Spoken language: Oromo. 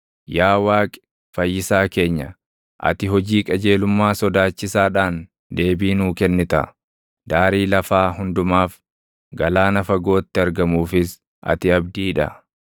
Yaa Waaqi Fayyisaa keenya, ati hojii qajeelummaa sodaachisaadhaan // deebii nuu kennita; daarii lafaa hundumaaf, galaana fagootti argamuufis ati abdii dha;